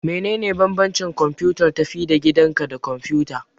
Menene bambancin kwamfutar tafi-da-gidanka da kwamfuta?